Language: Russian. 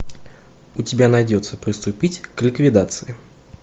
у тебя найдется приступить к ликвидации